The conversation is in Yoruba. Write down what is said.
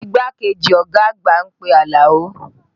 Igbákejì ọ̀gá àgbà ń pe Alao